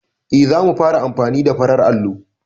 Eh, za mu fara amfani da farar allo.